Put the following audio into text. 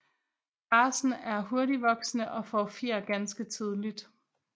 Racen er hurtigvoksende og får fjer ganske tidligt